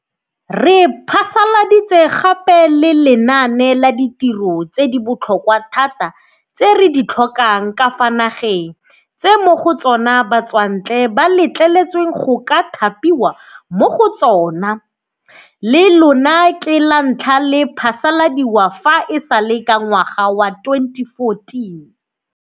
Re phasaladitse gape le Lenaane la Ditiro tse di Botlhokwa Thata tse re di Tlhokang ka fa Nageng tse mo go tsona Batswantle ba Letleletsweng go ka Thapiwa mo go Tsona, le lona ke lantlha le phasaladiwa fa e sale ka ngwaga wa 2014.